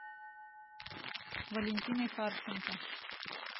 валентиной харченко